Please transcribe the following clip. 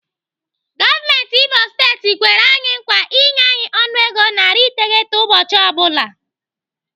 Gọọmenti Imo steeti kwere anyi nkwa inye anyị ọnụego narị iteghete ụbọchị ọ bụla.